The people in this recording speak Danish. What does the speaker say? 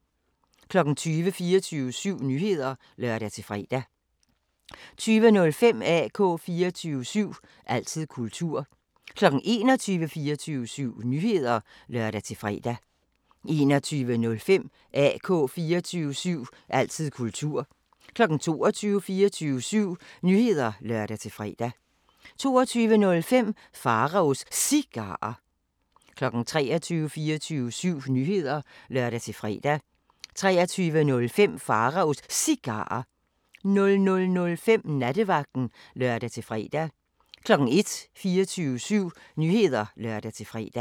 20:00: 24syv Nyheder (lør-fre) 20:05: AK 24syv – altid kultur 21:00: 24syv Nyheder (lør-fre) 21:05: AK 24syv – altid kultur 22:00: 24syv Nyheder (lør-fre) 22:05: Pharaos Cigarer 23:00: 24syv Nyheder (lør-fre) 23:05: Pharaos Cigarer 00:05: Nattevagten (lør-fre) 01:00: 24syv Nyheder (lør-fre)